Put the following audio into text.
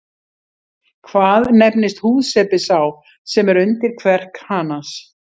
Hvað nefnist húðsepi sá sem er undir kverk hanans?